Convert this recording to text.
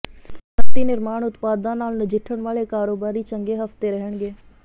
ਸਨਅਤੀ ਨਿਰਮਾਣ ਉਤਪਾਦਾਂ ਨਾਲ ਨਜਿੱਠਣ ਵਾਲੇ ਕਾਰੋਬਾਰੀ ਚੰਗੇ ਹਫਤੇ ਰਹਿਣਗੇ